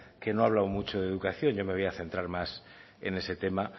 que no ha hablado mucho de educación yo me voy a centrar más en ese tema